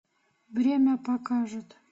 время покажет